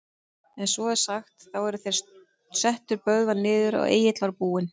En svo er sagt, þá er þeir settu Böðvar niður, að Egill var búinn